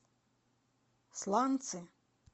сланцы